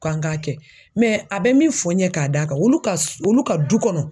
K'an k'a kɛ a bɛ min fɔ ɲɛ ka da kan ,olu ka du kɔnɔ